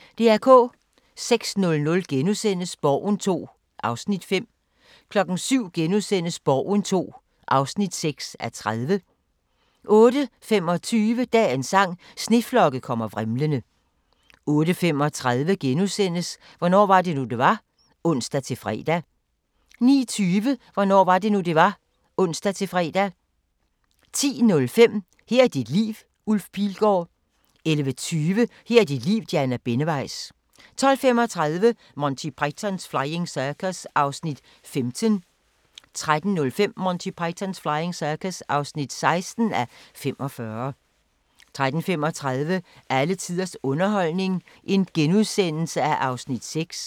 06:00: Borgen II (5:30)* 07:00: Borgen II (6:30)* 08:25: Dagens sang: Sneflokke kommer vrimlende 08:35: Hvornår var det nu, det var? *(ons-fre) 09:20: Hvornår var det nu, det var? (ons-fre) 10:05: Her er dit liv – Ulf Pilgaard * 11:20: Her er dit liv – Diana Benneweis 12:35: Monty Python's Flying Circus (15:45) 13:05: Monty Python's Flying Circus (16:45) 13:35: Alle tiders underholdning (6:8)*